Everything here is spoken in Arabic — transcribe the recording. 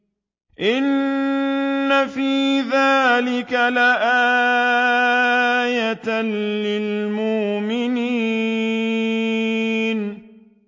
إِنَّ فِي ذَٰلِكَ لَآيَةً لِّلْمُؤْمِنِينَ